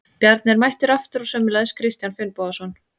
Bjarni er mættur aftur og sömuleiðis Kristján Finnbogason.